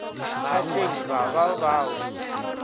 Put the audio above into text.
phatleng ba ba ba o